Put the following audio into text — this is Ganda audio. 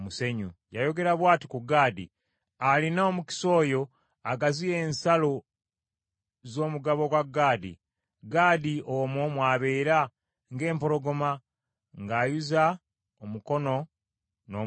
Yayogera bw’ati ku Gaadi: “Alina omukisa oyo agaziya ensalo z’omugabo gwa Gaadi, Gaadi omwo mw’abeera ng’empologoma ng’ayuza omukono n’omutwe.